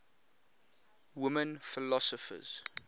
women philosophers